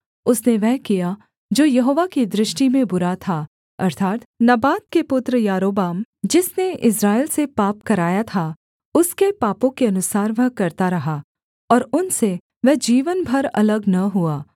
उसने वह किया जो यहोवा की दृष्टि में बुरा था अर्थात् नबात के पुत्र यारोबाम जिसने इस्राएल से पाप कराया था उसके पापों के अनुसार वह करता रहा और उनसे वह जीवन भर अलग न हुआ